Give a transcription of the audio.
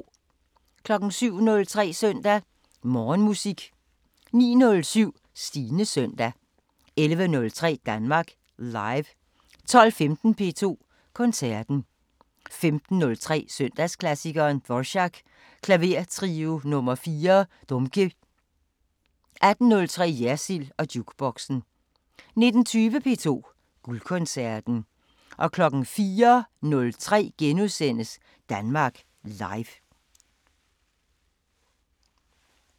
07:03: Søndag Morgenmusik 09:07: Stines Søndag 11:03: Danmark Live 12:15: P2 Koncerten 15:03: Søndagsklassikeren – Dvorak: Klavertrio nr. 4 – Dumky 18:03: Jersild & Jukeboxen 19:20: P2 Guldkoncerten 04:03: Danmark Live *